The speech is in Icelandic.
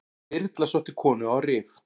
Þyrla sótti konu á Rif